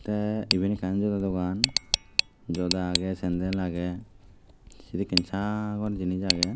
tey iben ekkan joda dogan joda aagey sandal aagey sedekken sagor jinis aagey.